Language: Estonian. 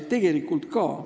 Tõepoolest!